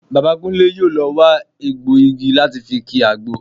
Bàbá Kúnlé yóò lọ wa egbọ̀ igi láti fi ki àgbo